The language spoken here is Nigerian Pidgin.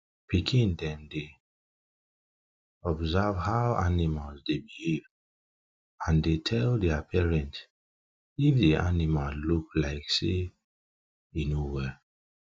pikin dem dey observe how animals dey behave and dey tell their parents if di animal look like say e no well